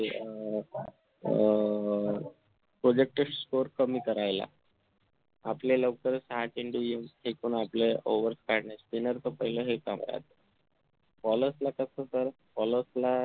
अं अं projected score कमी करायला आपल्या लवकर सहा चेंडू फेकून आपल्या overs काढणार spinner तर पाहिलं bowler ला कसं तर bowlers